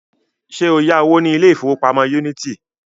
Ṣé o yá owó ní ilé ìfowópamọ́ Unity?